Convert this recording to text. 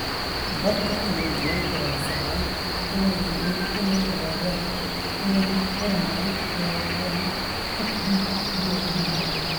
Dadka kale waxay go'aansadaan inaysan rabin inay ogaadaan inay horumari doonaan HD iyo in kale.